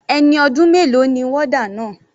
Ẹni ọdún mélòó ni warder náà?